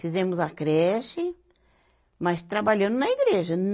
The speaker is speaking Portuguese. Fizemos a creche, mas trabalhando na igreja.